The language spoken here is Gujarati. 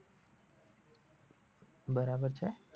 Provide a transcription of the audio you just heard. બરાબર છે.